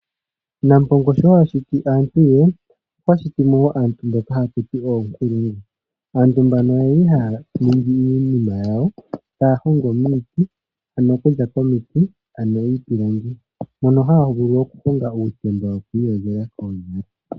Nampongo sho adhiti aantu ye, okwa shiti mo wo aantu mboka ashiti yena uunkulungu. Aantu mbano oyeli haya ningi iinima yawo ano taya hongo miiti okuza komiti ano iipilangi mono haya vulu oku honga uutemba wokwiiyogela koonyala